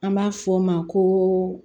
An b'a fɔ o ma ko